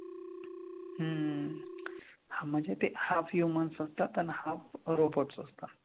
हम्म हां म्हणजे ते half human असतात आणि half robots असतात.